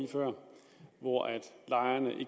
hvor af